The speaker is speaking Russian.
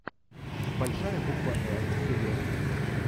большая буква р серия три